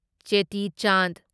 ꯆꯦꯇꯤ ꯆꯟꯗ